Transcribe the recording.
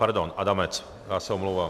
Pardon Adamec, já se omlouvám.